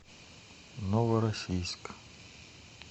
новороссийск